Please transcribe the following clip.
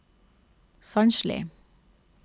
Sandsli